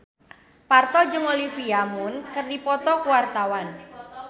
Parto jeung Olivia Munn keur dipoto ku wartawan